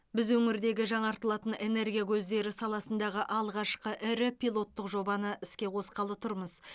біз өңірдегі жаңартылатын энергия көздері саласындағы алғашқы ірі пилоттық жобаны іске қосқалы тұрмыз